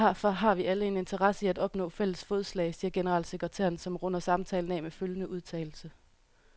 Derfor har vi alle en interesse i at opnå fælles fodslag, siger generalsekretæren, som runder samtalen af med følgende udtalelse.